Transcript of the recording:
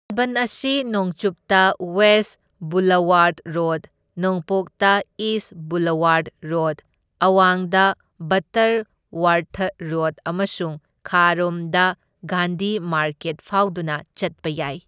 ꯂꯥꯟꯕꯟ ꯑꯁꯤ ꯅꯣꯡꯆꯨꯞꯇ ꯋꯦꯁ ꯕꯨꯂꯋꯥꯔꯗ ꯔꯣꯗ, ꯅꯣꯡꯄꯣꯛꯇ ꯏꯁ ꯕꯨꯂꯋꯥꯔꯗ ꯔꯣꯗ, ꯑꯋꯥꯡꯗ ꯕꯠꯇꯔ ꯋꯔꯊ ꯔꯣꯗ ꯑꯃꯁꯨꯡ ꯈꯥꯔꯣꯝꯗ ꯒꯥꯟꯙꯤ ꯃꯥꯔꯀꯦꯠ ꯐꯥꯎꯗꯨꯅ ꯆꯠꯄ ꯌꯥꯏ꯫